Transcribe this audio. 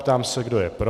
Ptám se, kdo je pro.